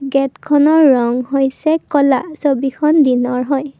গেটখনৰ ৰং হৈছে ক'লা ছবিখন দিনৰ হয়।